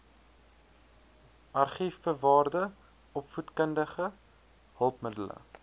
argiefbewaarde opvoedkundige hulpmiddele